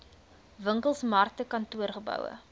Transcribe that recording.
winkels markte kantoorgeboue